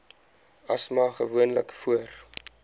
asma gewoonlik voor